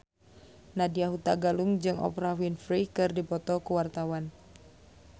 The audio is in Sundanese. Nadya Hutagalung jeung Oprah Winfrey keur dipoto ku wartawan